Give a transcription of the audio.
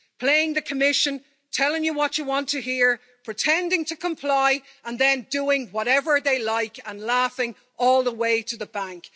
Playing the Commission, telling you what you want to hear, pretending to comply and then doing whatever they like and laughing all the way to the bank.